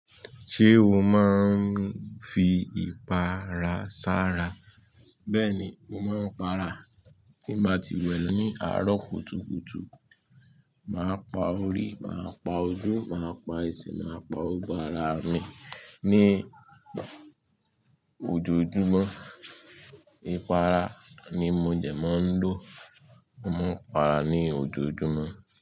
Ṣé o máa ń fi ìpara sára? Bẹ́ẹ̀ni, mo máa ń para tí n bá ti wẹ̀ ní àárọ̀ kùtùkùtù. Màá pa orí, màá pa ojú, màá pa ẹsẹ̀, màá pa gbogbo ara mi ní ojojúmọ́. Ìpara ni mo dẹ́ máa ń lò. Mo máa ń para ní ojojúmọ́